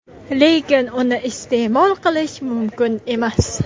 lekin uni iste’mol qilish mumkin emas.